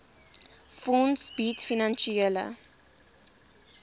fonds bied finansiële